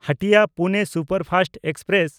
ᱦᱟᱴᱤᱭᱟ–ᱯᱩᱱᱮ superfast express